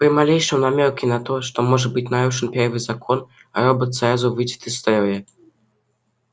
при малейшем намёке на то что может быть нарушен первый закон робот сразу выйдет из строя